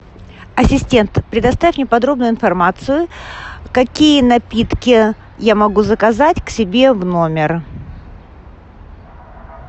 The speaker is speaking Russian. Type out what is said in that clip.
ассистент предоставь мне подробную информацию какие напитки я могу заказать к себе в номер